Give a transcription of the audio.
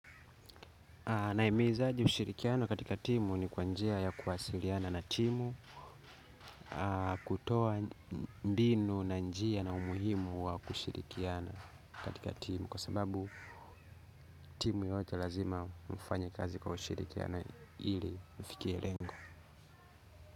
Naimiza aje ushirikiano katika timu? Ni kwa njia ya kuwasiliana na timu kutoa ndino na njia na umuhimu wa kushirikiana katika timu kwa sababu timu yote lazima mfanya kazi kwa ushirikiano ili mfikie lengo.